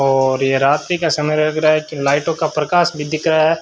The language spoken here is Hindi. और ये रात्रि का समय लग रहा है कि लाइटों का प्रकाश भी दिख रहा है।